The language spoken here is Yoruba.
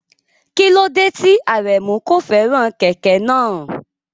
Kí ló dé tí Aremu kò fẹ́ràn kẹ̀kẹ́ náà?